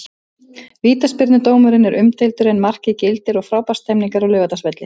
Vítaspyrnudómurinn er umdeildur en markið gildir og frábær stemning er á Laugardalsvelli.